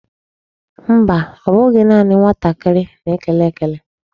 Mba, ọ bụghị naanị nwatakịrị na-ekele ekele.